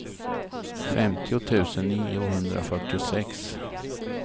femtio tusen niohundrafyrtiosex